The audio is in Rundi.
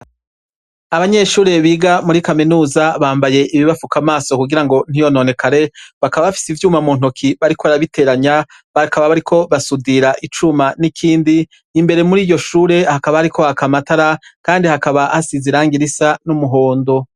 Abanyeshure biga muri Kaminuza bampaye ibibafuka amaso kugira ngo ntiyononekare bakaba bafise ivyuma muntoke bariko barabiteranya bakaba bariko basudira icuma nikindi kandi hakaba hasize irangi Risa numuhondo.